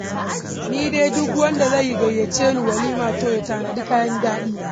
Ni dai duk wanda zai gayyace ni walima to ya tanadi kayan daɗi.